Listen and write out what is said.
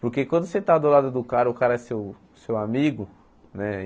Porque quando você está do lado do cara, o cara é seu seu amigo, né?